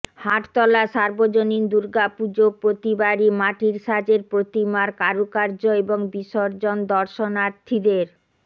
হাটতলা সার্বজনীন দুর্গাপুজো প্রতিবারই মাটির সাজের প্রতিমার কারুকার্য এবং বিসর্জন দর্শনার্থীদের